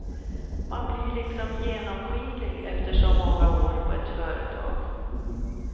Man blir liksom genomskinlig efter så många år på ett företag.